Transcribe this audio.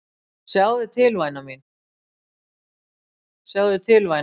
Sjáðu til væna mín.